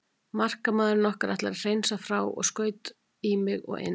Markamaðurinn okkar ætlaði að hreinsa frá og skaut í mig og inn.